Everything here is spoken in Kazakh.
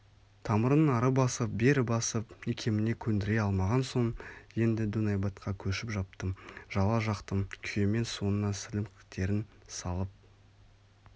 тамырын ары басып бері басып икеміне көндіре алмаған соң енді дөңайбатқа көшіп жаптым жала жақтым күйемен соңына сілімтіктерін салып